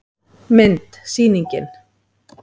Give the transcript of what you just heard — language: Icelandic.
Mynd: Sýningin.